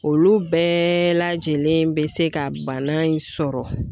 Olu bɛɛ lajɛlen bɛ se ka bana in sɔrɔ